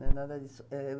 Não é nada disso. É...